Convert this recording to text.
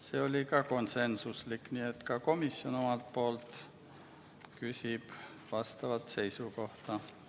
See otsus oli ka konsensuslik, nii et komisjon ka omalt poolt küsib instituudilt seisukohta.